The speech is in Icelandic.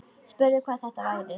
Spurði hvað þetta væri.